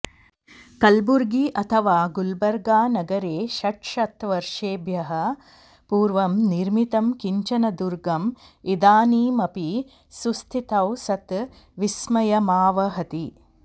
कलबुर्गी अथवा गुल्बर्गानगरे षड्शतवर्षेभ्यः पूर्वं निर्मितं किञ्चन दुर्गम् इदानीमपि सुस्थितौ सत् विस्मयमावहति